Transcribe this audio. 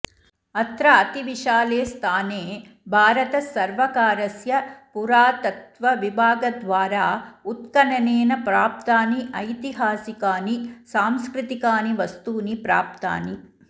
अत्र अतिविशाले स्थाने भारतससर्वकारस्य पुरातत्त्वविभागद्वारा उत्खननेन प्राप्तानि ऐतिहासिकानि सांस्कृतिकानि वस्तूनि प्राप्तानि